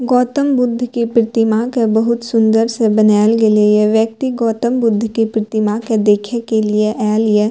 गौतम बुद्ध के प्रतिमा के बहुत सूंदर से बनाएल गेले ये व्यक्ति गौतम बुद्ध के प्रतिमा के देखे के लिए ऐल ये।